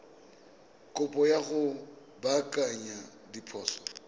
kopo ya go baakanya diphoso